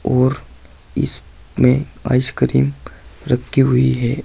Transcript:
और इसमें आइसक्रीम रखी हुई है।